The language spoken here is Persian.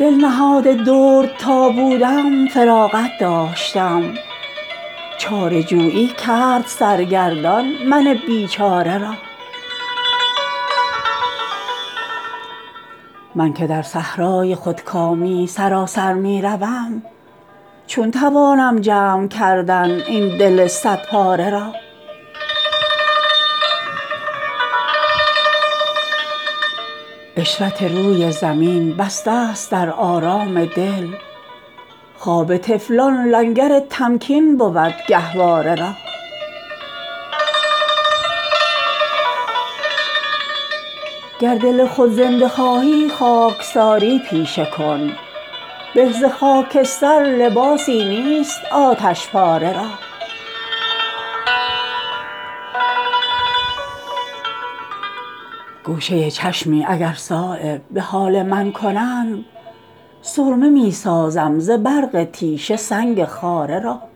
دل نهاد درد تا بودم فراغت داشتم چاره جویی کرد سرگردان من بیچاره را من که در صحرای خودکامی سراسر می روم چون توانم جمع کردن این دل صد پاره را عشرت روی زمین بسته است در آرام دل خواب طفلان لنگر تمکین بود گهواره را گر دل خود زنده خواهی خاکساری پیشه کن به ز خاکستر لباسی نیست آتشپاره را گوشه چشمی اگر صایب به حال من کنند سرمه می سازم ز برق تیشه سنگ خاره را